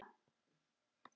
Þú ert að plata.